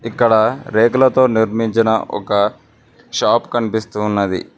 ఇక్కడ రేకులతో నిర్మించిన ఒక షాప్ కనిపిస్తు ఉన్నది.